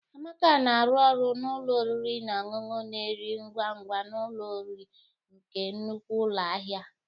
Amaka na-arụ ọrụ na ụlọ oriri na ọṅụṅụ na-eri ngwa ngwa n'ụlọ nri nke nnukwu ụlọ ahịa